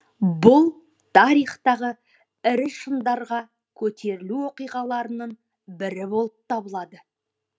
бул тарихтағы ірі шыңдарға көтерілу оқиғаларының бірі болып табылады